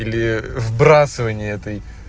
или вбрасывание этой